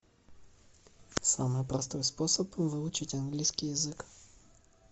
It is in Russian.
самый простой способ выучить английский язык